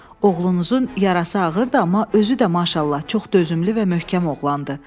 Oğlunuzun yarası ağırdır, amma özü də maşallah, çox dözümlü və möhkəm oğlandı.